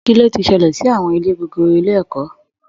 Kí ló ti ṣẹlẹ̀ sí àwọn ilé gogoro ilé ẹ̀kọ́?